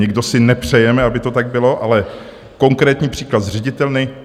Nikdo si nepřejeme, aby to tak bylo, ale konkrétní příklad z ředitelny.